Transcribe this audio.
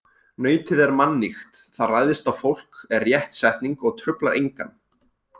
Nautið er mannýgt, það ræðst á fólk er rétt setning og truflar engan.